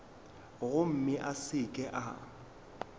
gomme a se ke a